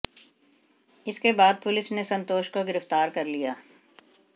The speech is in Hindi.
इसके बाद पुलिस ने संतोष को गिरफ्तार कर लिया